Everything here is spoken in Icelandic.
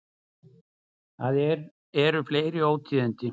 Það eru fleiri ótíðindi.